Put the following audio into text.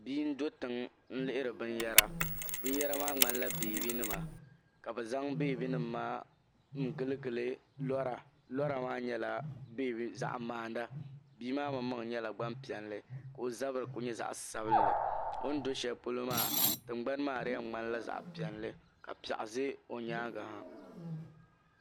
Bia n-do tiŋa n-lihiri binyɛra binyɛra maa ŋmanila beebinima ka bɛ zaŋ beebinima maa n-giligili lora lora maa nyɛla zaɣ'maana bia maa maŋmaŋ nyɛla gbampiɛlli ka o zabiri kuli nyɛ zaɣ'sabinli o ni do shɛli polo maa tiŋgbani di yɛn ŋmanila zaɣ'piɛlli ka piɛɣu ʒe o nyaaŋa ha.